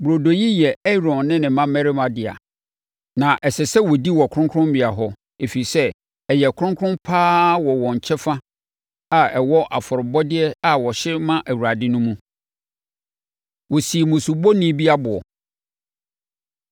Burodo yi yɛ Aaron ne ne mmammarima dea, na ɛsɛ sɛ wɔdi wɔ kronkronbea hɔ, ɛfiri sɛ, ɛyɛ kronkron pa ara wɔ wɔn kyɛfa a ɛwɔ afɔrebɔdeɛ a wɔhye ma Awurade no mu.” Wɔsii Musubɔni Bi Aboɔ